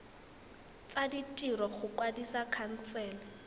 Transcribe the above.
tsa ditiro go kwadisa khansele